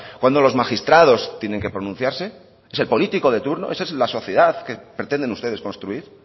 cuándo los magistrados tienen que pronunciarse es el político de turno esa es la sociedad que pretenden ustedes construir